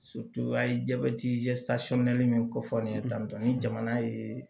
a ye jabɛti min kofɔ ne ye tantɔn ni jamana ye